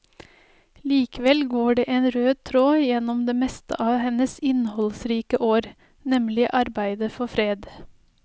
Likevel går det en rød tråd gjennom det meste av hennes innholdsrike år, nemlig arbeidet for fred.